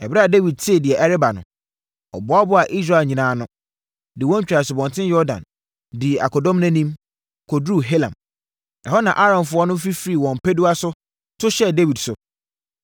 Ɛberɛ a Dawid tee deɛ ɛreba no, ɔboaboaa Israel nyinaa ano, de wɔn twaa Asubɔnten Yordan, dii akodɔm no anim, kɔduruu Helam. Ɛhɔ na Aramfoɔ no fifirii wɔn mpasua so to hyɛɛ Dawid so.